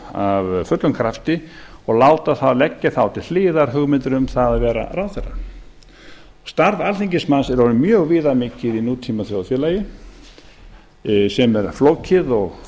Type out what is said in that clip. af fullum krafti og leggja þá til hliðar hugmyndir um það að vera ráðherrar starf alþingismanns er orðið mjög viðamikið í nútímaþjóðfélagi sem er flókið og